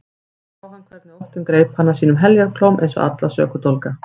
Svo sá hann hvernig óttinn greip hana sínum heljarklóm eins og alla sökudólga.